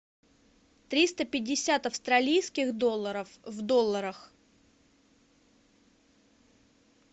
триста пятьдесят австралийских долларов в долларах